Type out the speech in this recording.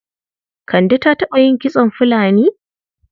Kande ta taɓa yin kitson fulani?